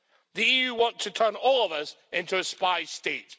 The EU wants to turn all of us into a spy state.